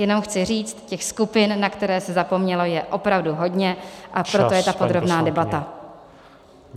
Jenom chci říci, těch skupin, na které se zapomnělo, je opravdu hodně, a proto je ta podrobná debata.